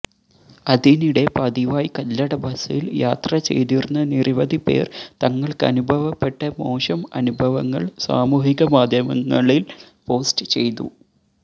അതിനിടെ പതിവായി കല്ലട ബസിൽ യാത്ര ചെയ്തിരുന്ന നിരവധി പേർ തങ്ങൾക്കനുഭവപ്പെട്ട മോശം അനുഭവങ്ങൾ സാമൂഹികമാധ്യമങ്ങളിൽ പോസ്റ്റ് ചെയ്തു